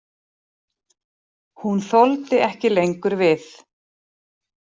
Hún þoldi ekki lengur við.